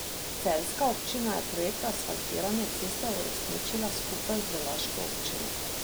Celjska občina je projekt asfaltiranja ceste uresničila skupaj z laško občino.